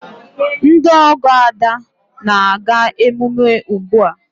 Ndị ọgọ Ada na-aga emume ugbu a.